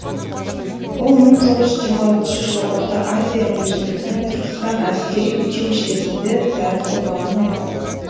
ол мың тоғыз жүз жиырма алтыншы жылы орта азия университеті мен түркістан әскери училищесінде дәріс оқығанын айтады